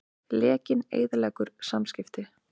Lekinn eyðileggur samskipti